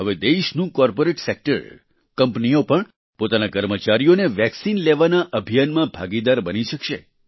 હવે દેશનું corporate sector કંપનીઓ પણ પોતાના કર્મચારીઓને વેક્સિન લેવાના અભિયાનમાં ભાગીદાર બની શકશે